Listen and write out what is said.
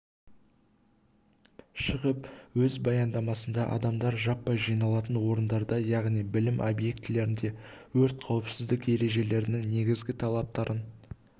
шығып өз баяндамасында адамдар жаппай жиналатын орындарда яғни білім объектілеріндегі өрт қауіпсіздік ережелерінің негізгі талаптарын